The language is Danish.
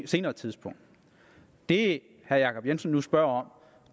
senere tidspunkt det herre jacob jensen nu spørger om